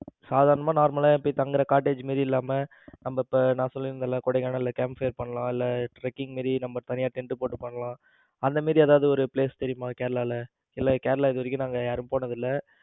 சாதாரணமா normal ல தங்குற cottage மாதிரி இல்லாம அந்த நான் சொல்லி இருந்தேன்ல கொடைக்கானல்ல campfire பண்ணலாம். இல்ல tracking மாதிரி நம்ம தனியா tent போட்டு பண்ணலாம். அந்த மாதிரி ஏதாவது ஒரு place தெரியுமா? கேரளால இல்ல கேரளாவுக்கு இதுவரைக்கும் நாங்க யாருமே போனதில்ல.